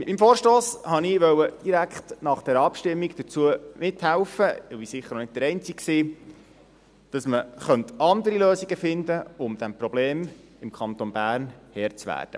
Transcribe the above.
Mit dem Vorstoss wollte ich direkt nach dieser Abstimmung mithelfen – ich war sicher auch nicht der Einzige –, dass man andere Lösungen finden kann, um dem Problem im Kanton Bern Herr zu werden.